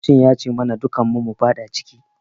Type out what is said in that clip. Kocin ya ci mana dukun mu mufada ciki